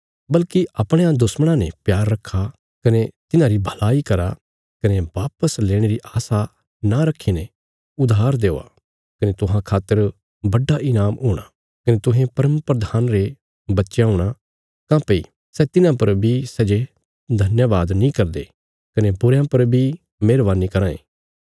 बल्कि अपणयां दुश्मणां ने प्यार रखा कने तिन्हांरी भलाई करा कने वापस लेणे री आशा न रखीने उधार देआ कने तुहां खातर बड्डा ईनाम हूणा कने तुहें परमप्रधान रे बच्चयां हूणा काँह्भई सै तिन्हां पर बी सै जे धन्यवाद नीं करदे कने बुरयां पर बी मेहरवानी कराँ ये